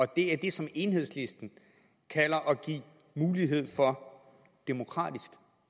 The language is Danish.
det er det som enhedslisten kalder at give mulighed for demokratisk